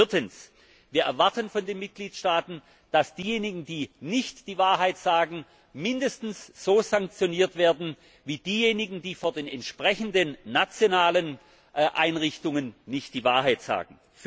Viertens Wir erwarten von den Mitgliedstaaten, dass diejenigen, die nicht die Wahrheit sagen, mindestens so sanktioniert werden wie diejenigen, die vor den entsprechenden nationalen Einrichtungen nicht die Wahrheit sagen.